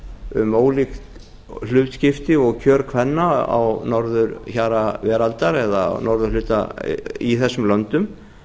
um ólíkt hlutskipti og kjör kvenna á norðurhjara veraldar á norðurhluta í þessum löndum